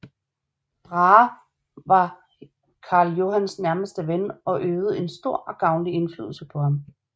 Brahe var Karl Johans nærmeste ven og øvede en stor og gavnlig indflydelse på ham